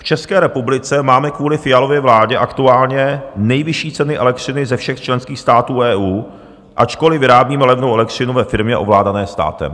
V České republice máme kvůli Fialově vládě aktuálně nejvyšší ceny elektřiny ze všech členských států EU, ačkoli vyrábíme levnou elektřinu ve firmě ovládané státem.